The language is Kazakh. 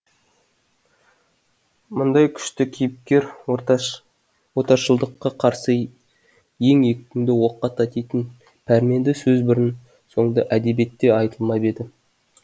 мұндай күшті кейіпкер отаршылдыққа қарсы ең екпінді оққа татитын пәрменді сөз бұрын соңды әдебиетте айтылмап еді